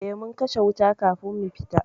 Eh mun kashe wuta kafin mu fita.